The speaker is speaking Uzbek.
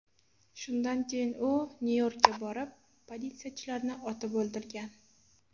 Shundan keyin u Nyu-Yorkka borib, politsiyachilarni otib o‘ldirgan.